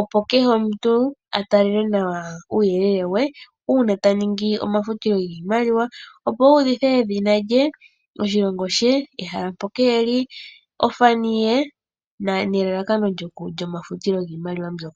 opo kehe omuntu a tale nawa uuyelele we uuna ta ningi omafutilo giimaliwa , opo a udhithe edhina lye, oshilongo she, ehala mpoka e li, ofani ye ,nelalakano lyomafutilo giimaliwa mbyoka.